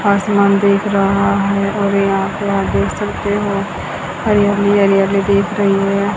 आसमान देख रहा है और यहां पे आप देख सकते हो हरियाली ही हरियाली देख रही है।